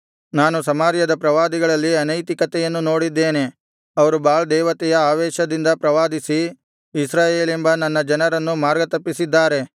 ನಾನು ಸಮಾರ್ಯದ ಪ್ರವಾದಿಗಳಲ್ಲಿ ಅನೈತಿಕತೆಯನ್ನು ನೋಡಿದ್ದೇನೆ ಅವರು ಬಾಳ್ ದೇವತೆಯ ಆವೇಶದಿಂದ ಪ್ರವಾದಿಸಿ ಇಸ್ರಾಯೇಲೆಂಬ ನನ್ನ ಜನರನ್ನು ಮಾರ್ಗ ತಪ್ಪಿಸಿದ್ದಾರೆ